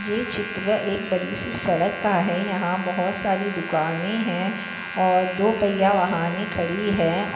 ये चित्र एक बड़ी सी सड़क का हैयहा बहुत सारी दुकाने है और दो पैया वहाने खड़ी है।